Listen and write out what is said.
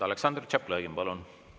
Aleksandr Tšaplõgin, palun!